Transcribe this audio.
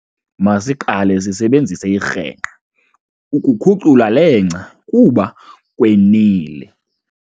Masiqale sisebenzise irhengqa ukukhucula le ngca kuba kwenile.